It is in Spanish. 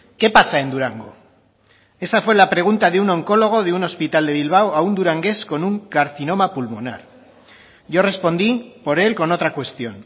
qué pasa en durango esa fue la pregunta de un oncólogo de un hospital de bilbao a un durangués con un carcinoma pulmonar yo respondí por él con otra cuestión